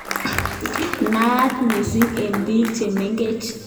Naat missing eng bik che mengech